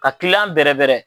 Ka kiliyan bɛrɛbɛrɛ